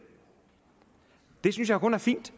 det synes jeg kun er fint